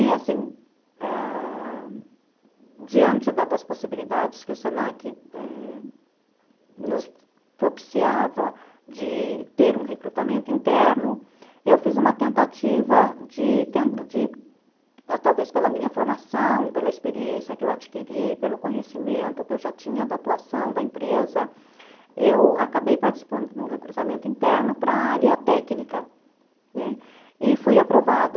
E assim, ãh... diante das possibilidades que o se na que nos propiciava de ter um recrutamento interno, eu fiz uma tentativa de de, talvez pela minha formação, pela experiência que eu adquiri, pelo conhecimento que eu já tinha da atuação da empresa, eu acabei participando de um recrutamento interno para a área técnica, né, e fui aprovada.